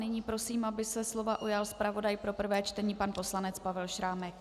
Nyní prosím, aby se slova ujal zpravodaj pro prvé čtení pan poslanec Pavel Šrámek.